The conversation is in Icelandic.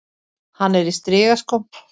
Hann er í strigaskóm.